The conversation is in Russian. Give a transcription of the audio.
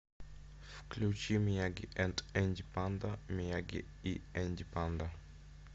включи мияги энд энди панда мияги и энди панда